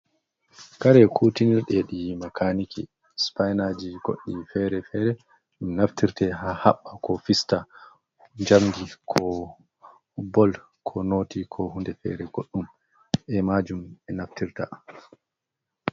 Kare kutini tedi makaniki, supainaji goɗɗi fere-fere, ɗum naftirte haɓɓa ko fista jamdi, ko bol, ko noti, ko hunde fere goɗɗum be majum ɓe naftirta.